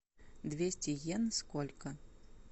двести йен сколько